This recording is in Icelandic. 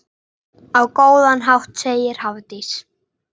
Á góðan hátt, segir Hafdís.